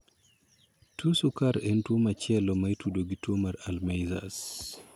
tuo sukar en tuo machielo ma itudo gi tuo mar 'Alzheimer'.